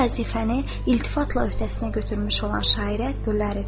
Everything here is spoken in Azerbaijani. Bu vəzifəni iltifatla öhdəsinə götürmüş olan şairə böylə edirəm.